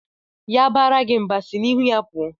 Ya baara gị mba, sị n'ihu ya pụọ!